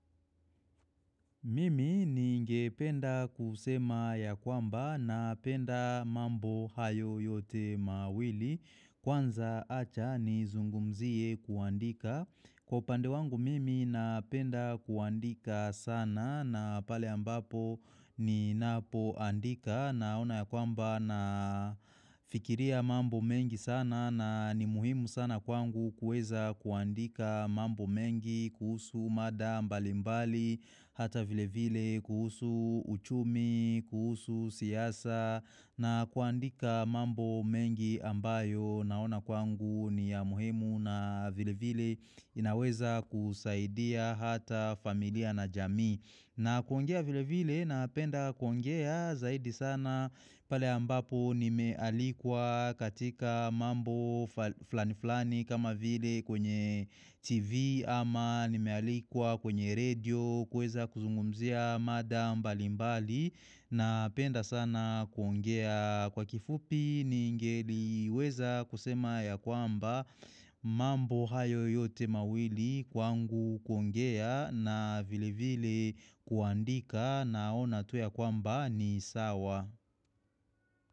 Mimi ningependa kusema ya kwamba napenda mambo hayo yote mawili Kwanza acha nizungumzie kuandika Kwa upandewangu mimi napenda kuandika sana na pale ambapo ninapoandika Naona ya kwamba na fikiria mambo mengi sana na ni muhimu sana kwangu kueza kuandika mambo mengi kuhusu mada mbali mbali hata vile vile kuhusu uchumi kuhusu siasa na kuandika mambo mengi ambayo naona kwangu ni ya muhimu na vile vile inaweza kusaidia hata familia na jamii na kuongea vile vile napenda kuongea zaidi sana pale ambapo nimealikwa katika mambo flani flani kama vile kwenye tv ama nimealikwa kwenye redio kuweza kuzungumzia mada mbali mbali. Napenda sana kuongea kwa kifupi ningeliweza kusema ya kwamba mambo hayo yote mawili kwangu kuongea na vile vile kuandika naona tu ya kwamba ni sawa.